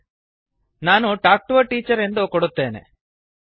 ನಾನು talk to A teacher talk to a teacher ಎಂದು ಕೊಡುತ್ತೇನೆ